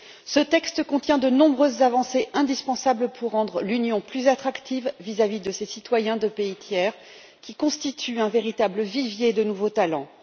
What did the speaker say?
Ce texte contient de nombreuses avancées indispensables pour rendre l'Union plus attractive vis à vis des citoyens de pays tiers qui constituent un véritable vivier de nouveaux talents.